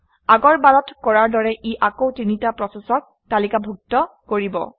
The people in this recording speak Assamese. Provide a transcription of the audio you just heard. আগৰ বাৰত কৰাৰ দৰে ই আকৌ তিনিটা প্ৰচেচক তালিকাভুক্ত কৰিব